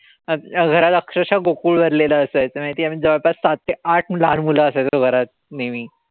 घरात अक्षरशः गोकुळ भरलेलं असायचं माहितीये. जवळपास सात ते आठ लहान मुलं असायचेत घरात नेहमी.